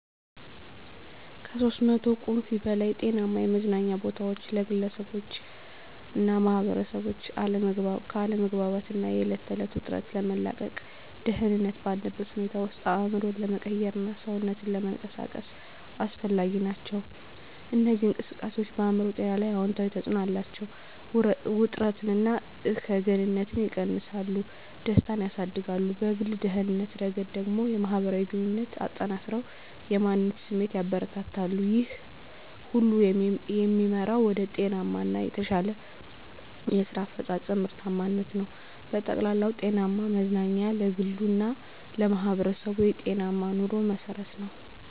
(ከ300 ቁምፊ በላይ) ጤናማ የመዝናኛ ቦታዎች ለግለሰቦችና ማኅበረሰቦች ከአለመግባባት እና የዕለት ተዕለት ውጥረት ለመላቀቅ፣ ደህንነት ባለበት ሁኔታ ውስጥ አእምሮን ለመቀየርና ሰውነትን ለመንቀሳቀስ አስፈላጊ ናቸው። እነዚህ እንቅስቃሴዎች በአእምሮ ጤና ላይ አዎንታዊ ተጽዕኖ አላቸው፤ ውጥረትን እና እከግንነትን ይቀንሳሉ፣ ደስታን ያሳድጋሉ። በግል ደህንነት ረገድ ደግሞ፣ የማህበራዊ ግንኙነትን አጠናክረው የማንነት ስሜትን ያበረታታሉ። ይህ ሁሉ የሚመራው ወደ ጤናማ እና የተሻለ የስራ አፈጻጸም (ምርታማነት) ነው። በጠቅላላው፣ ጤናማ መዝናኛ ለግሉ እና ለማህበረሰቡ የጤናማ ኑሮ መሠረት ነው።